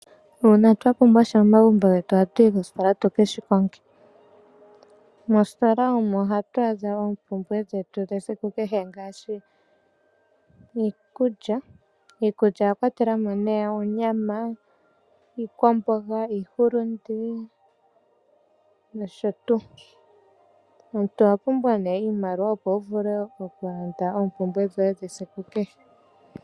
Uuna twa pumbwa sha momagumbo getu ohatu yi koositola tu ke shi konge. Mositola omo hatu adha oompumbwe dhetu dhesiku kehe ngaashi iikulya. Iikulya oya kwatela mo oonyama, iikwamboga, iihulunde nosho tuu. Omuntu owa pumbwa iimaliwa, opo wu vule okulanda oompumbwe dhoye dhesiku kehe.